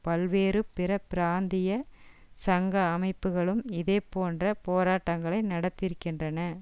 பல்வேறு பிற பிராந்திய சங்க அமைப்புகளும் இதே போன்ற போராட்டங்களை நடத்தியிருக்கின்றன